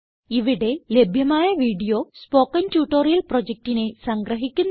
ഇവിടെ ലഭ്യമായ video spoken tutorial പ്രൊജക്റ്റിനെ സംഗ്രഹിക്കുന്നു